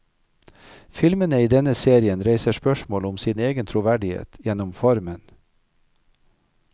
Filmene i denne serien reiser spørsmål om sin egen troverdighet gjennom formen.